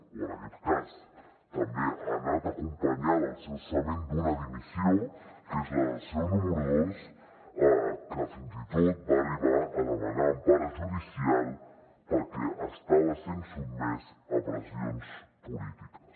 o en aquest cas ha anat acompanyat del cessament d’una dimissió que és la del seu número dos que fins i tot va arribar a demanar empara judicial perquè estava sent sotmès a pressions polítiques